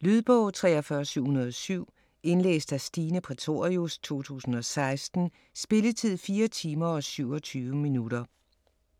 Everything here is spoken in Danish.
Lydbog 43707 Indlæst af Stine Prætorius, 2016. Spilletid: 4 timer, 27 minutter.